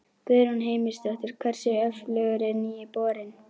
Guðrún Heimisdóttir: Hversu öflugur er nýi borinn?